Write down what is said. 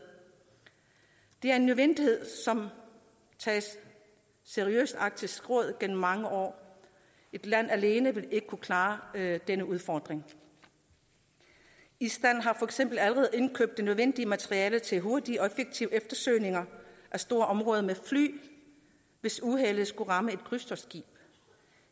det er en nødvendighed som er taget seriøst af arktisk råd gennem mange år et land alene ville ikke kunne klare denne udfordring island har for eksempel allerede indkøbt det nødvendige materiel til hurtige og effektive eftersøgninger af store områder med fly hvis uheldet skulle ramme et krydstogtskib